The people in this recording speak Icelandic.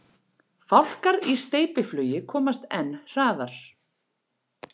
Fálkar í steypiflugi komast enn hraðar.